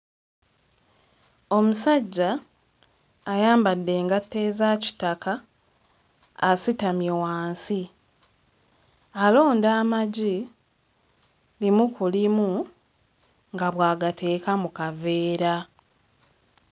Omusajja ayambadde engatto eza kitaka, asitamye wansi alonda amagi limu ku limu nga bw'agateeka mu kaveera.